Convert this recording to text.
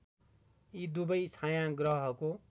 यी दुबै छायाँग्रहको